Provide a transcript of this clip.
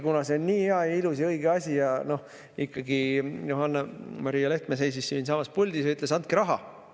Kuna see on nii hea ja ilus ja õige asi ja ikkagi Johanna-Maria Lehtme seisis siinsamas puldis ja ütles: "Andke raha!